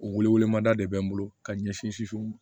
O wele wele mada de bɛ n bolo ka ɲɛsin soso ma